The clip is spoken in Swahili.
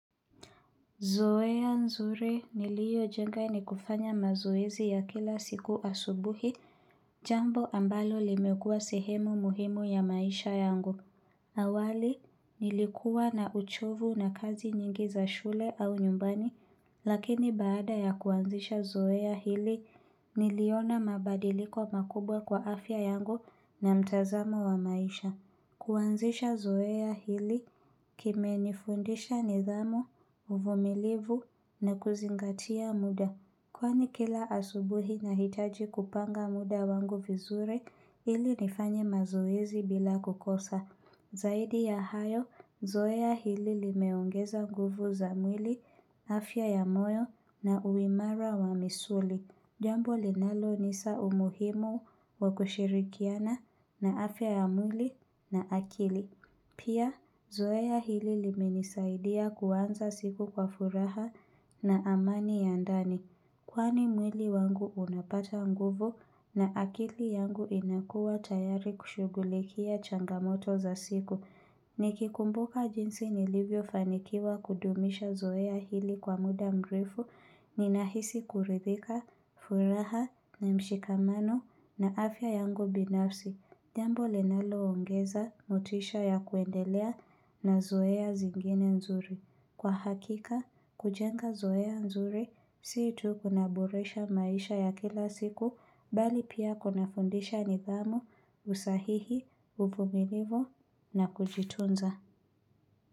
Zoeya nzuri niliyo jenga ni kufanya mazoezi ya kila siku asubuhi, jambo ambalo limekua sehemu muhimu ya maisha yangu. Awali, nilikuwa na uchovu na kazi nyingi za shule au nyumbani, lakini baada ya kuanzisha zoeya hili, niliona mabadiliko makubwa kwa afya yangu na mtazamo wa maisha. Kuanzisha zoe ya hili kime nifundisha nidhamu, uvumilivu na kuzingatia mda Kwani kila asubuhi nahitaji kupanga mda wangu vizuri ili nifanye mazoezi bila kukosa Zaidi ya hayo, zoea ya hili limeongeza nguvu za mwili, afya ya moyo na uimara wa misuli Jambo linalo nisa umuhimu wa kushirikiana na afya ya mwili na akili. Pia, zoea hili limenisaidia kuanza siku kwa furaha na amani ya ndani. Kwani mwili wangu unapata nguvu na akili yangu inakua tayari kushughulikia changa moto za siku. Nikikumbuka jinsi nilivyo fanikiwa kudumisha zoea hili kwa mda mrefu, ninahisi kuridhika, furaha na mshikamano na afya yangu binafsi. Jambo linalo ongeza, motisha ya kuendelea na zoea zingine nzuri. Kwa hakika, kujenga zoea nzuri, si tu kuna boresha maisha ya kila siku, bali pia kuna fundisha nidhamu, usahihi, uvuminivu na kujitunza.